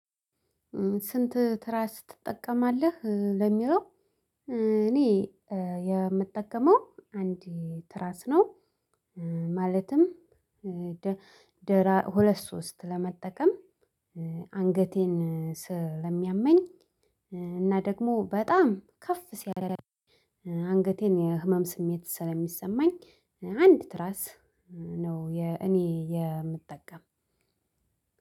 ስንት? ትራስ ትጠቀማለህ ለሚለው እኔ የምጠቀመው አንድ ትራስ ነው። ማለትም ሁለት ሶስት ለመጠቀም አንገቴን ስለሚያመኝ እና ደግሞ በጣም ከፍ ሲያደርግ። አንገቴን የህመም ስሜት ስለሚሰማኝ አንድ ትራስ ነው እኔ የምጠቀም።